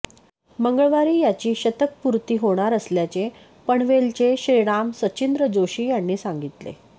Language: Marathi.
मंगळवारी याची शतकपूर्ती होणार असल्याचे पनवेलचे श्रीराम सचिंद्र जोशी यांनी सांगितले